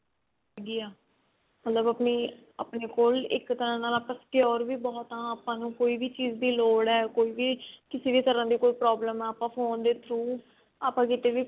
ਮਤਲਬ ਆਪਣੀ ਕੋਈ ਇੱਕ ਤਰ੍ਹਾਂ ਨਾਲ secure ਵੀ ਬਹੁਤ ਆ ਆਪਾਂ ਨੂੰ ਕੋਈ ਵੀ ਚੀਜ਼ ਦੀ ਲੋੜ ਹੈ ਕਿਸੇ ਵੀ ਤਰ੍ਹਾਂ ਦੀ ਕੋਈ problem ਹੈ ਆਪਾਂ phone ਦੇ through ਆਪਾਂ ਕਿਤੇ ਵੀ